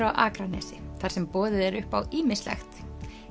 á Akranesi þar sem boðið er upp á ýmislegt